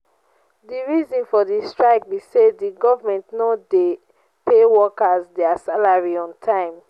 di reason for di strike be say di government no dey pay workers dia salaries on time.